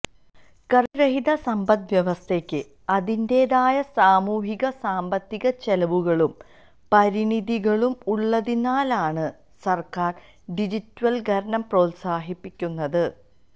currency രഹിത സമ്പദ്വ്യവസ്ഥയ്ക്ക് അതിന്റേതായ സാമൂഹിക സാമ്പത്തിക ചെലവുകളും പരിണിതികളും ഉള്ളതിനാലാണ് സര്ക്കാര് ഡിജിറ്റല്വല്കരണം പ്രോത്സാഹിപ്പിക്കുന്നത്